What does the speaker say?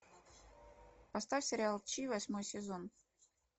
поставь сериал чи восьмой сезон